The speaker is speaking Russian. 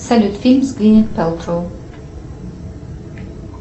салют фильм с гвинет пэлтроу